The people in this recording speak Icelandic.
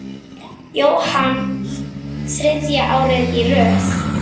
Jóhann þriðja árið í röð?